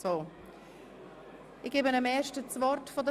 Schaffen wir es, heute fertig zu werden?